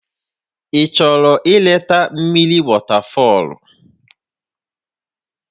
Ị chọrọ ileta mmiri wọtafọlụ?